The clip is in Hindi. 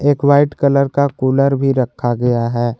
एक वाइट कलर का कूलर रखा हुआ है।